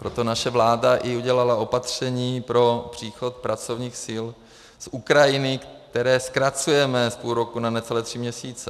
Proto naše vláda udělala i opatření pro příchod pracovních sil z Ukrajiny, které zkracujeme z půl roku na necelé tři měsíce.